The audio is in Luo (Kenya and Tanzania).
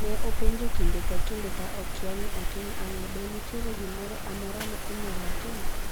Ne openjo kinde ka kinde ,ka okiya ni otim ang'o,"Be nitiere gimora amora ma inyalotim?